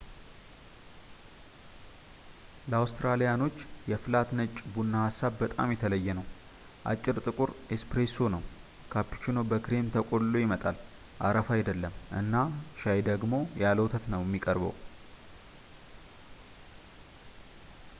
ለአውትራሊያኖች የ’ፍላት ነጭ’ ቡና ሀሳብ በጣም የተለየ ነው። አጭር ጥቁር ‘ኤስፕሬሶ’ ነው፣ ካፕቺኖ በክሬም ተቆልሎ ይመጣልአረፋ አይደለም፣ እና ሻይ ደግሞ ያለ ወተት ነው የሚቀርበው